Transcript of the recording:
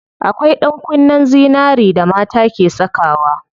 Akwai ɗankunnen zinari da mata ke sakawa.